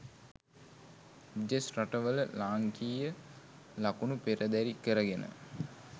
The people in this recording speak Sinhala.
විදෙස් රට වල ලාංකීය ලකුණ පෙරදැරි කරගෙන